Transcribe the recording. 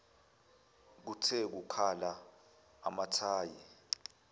kuthe kukhala amathayi